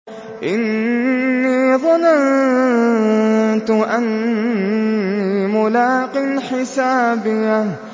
إِنِّي ظَنَنتُ أَنِّي مُلَاقٍ حِسَابِيَهْ